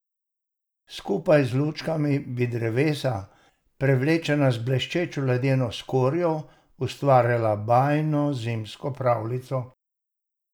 Skupaj z lučkami bi drevesa, prevlečena z bleščečo ledeno skorjo, ustvarila bajno zimsko pravljico.